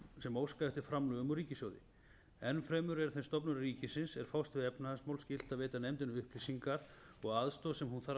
sem óska eftir framlögum úr ríkissjóði enn fremur er þeim stofnunum ríkisins er fást við efnahagsmál skylt að veita nefndinni upplýsingar og aðstoð sem hún þarf